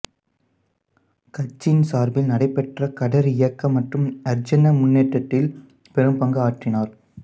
கட்சியின் சார்பில் நடைபெற்ற கதர் இயக்கம் மற்றும் அரிஜன முன்னேற்றத்தில் பெரும் பங்கு ஆற்றினார்